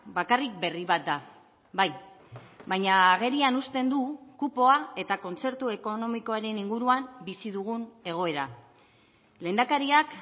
bakarrik berri bat da bai baina agerian uzten du kupoa eta kontzertu ekonomikoaren inguruan bizi dugun egoera lehendakariak